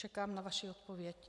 Čekám na vaši odpověď.